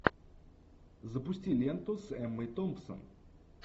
запусти ленту с эммой томпсон